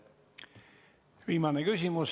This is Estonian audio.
Viimane küsimus.